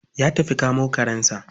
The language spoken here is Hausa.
Ya tafi kamo karensa.